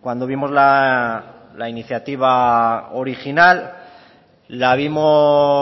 cuando vimos la iniciativa original la vimos